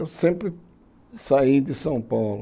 Eu sempre saí de São Paulo.